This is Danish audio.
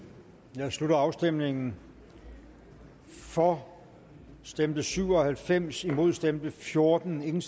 jeg slutter afstemningen for stemte syv og halvfems imod stemte fjorten hverken